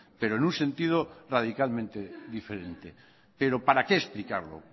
pero en un sentido radicalmente diferente pero para qué explicarlo